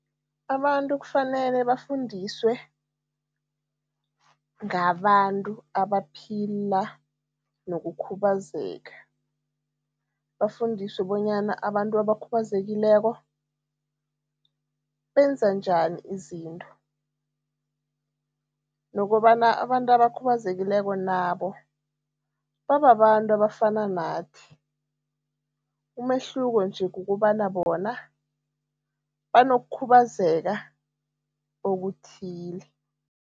Abantu kufanele bafundiswe ngabantu abaphila nokukhubazeka, bafundiswe bonyana abantu abakhubazekileko benza njani izinto nokobana abantu abakhubazekileko nabo bababantu abafana nathi, umehluko nje kukobana bona banokukhubazeka okuthile.